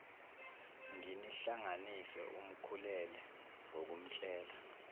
nginihlanganise umkhulule ngokumtshela